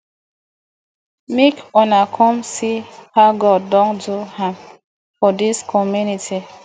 make una come see how god don do am for dis community